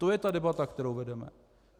To je ta debata, kterou vedeme.